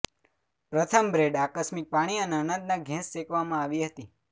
પ્રથમ બ્રેડ આકસ્મિક પાણી અને અનાજ ના ઘેંસ શેકવામાં આવી હતી